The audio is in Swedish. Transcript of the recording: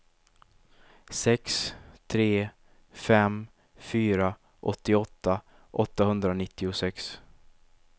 sex tre fem fyra åttioåtta åttahundranittiosex